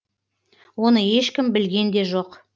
оны ешкім білген де жоқ